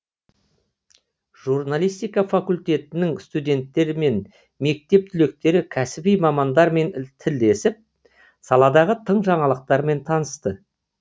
журналистика факультетінің студенттері мен мектеп түлектері кәсіби мамандармен тілдесіп саладағы тың жаңалықтармен танысты